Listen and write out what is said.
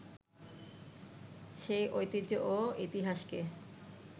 সেই ঐতিহ্য ও ইতিহাসকে